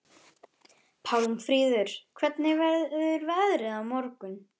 Pálmfríður, hvernig verður veðrið á morgun?